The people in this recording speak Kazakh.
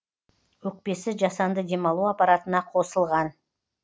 өкпесі жасанды демалу аппаратына қосылған